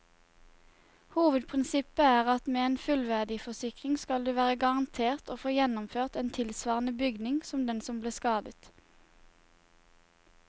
Hovedprinsippet er at med en fullverdiforsikring skal du være garantert å få gjenoppført en tilsvarende bygning som den som ble skadet.